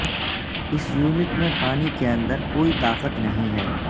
اس unit میں پانی کے اندر کوئی طاقت نہیں ہے